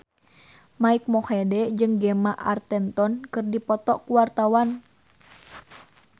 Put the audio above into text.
Mike Mohede jeung Gemma Arterton keur dipoto ku wartawan